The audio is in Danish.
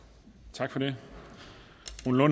tak for det